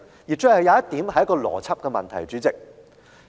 主席，我最後想談談一個邏輯問題。